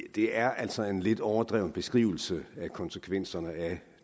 det er altså en lidt overdreven beskrivelse af konsekvenserne af